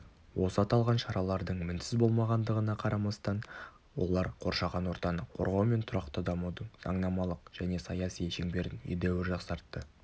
осы аталған шаралардың мінсіз болмағандығына қарамастан олар қоршаған ортаны қорғау мен тұрақты дамудың заңнамалық және саяси шеңберін едәуір жақсартты